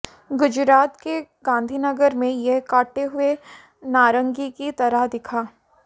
गुजरात के गांधीनगर में यह कटे हुए नारंगी की तरह दिखा